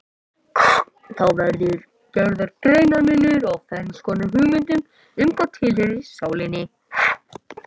Þá verður gerður greinarmunur á ferns konar hugmyndum um hvað tilheyrir sálinni.